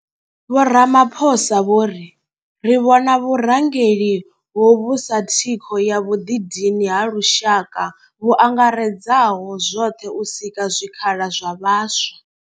Vho Ramaphosa vho ri ri vhona vhurangeli hovhu sa thikho ya vhuḓidini ha lushaka vhu angaredzaho zwoṱhe u sika zwikhala zwa vhaswa.